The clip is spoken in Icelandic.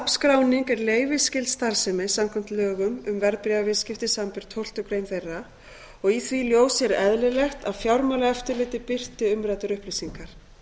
safnskráning er leyfisskyld starfsemi samkvæmt lögum um verðbréfaviðskipti samanber tólftu greinar þeirra og í því ljósi er eðlilegt að fjármálaeftirlitið birti umræddar upplýsingar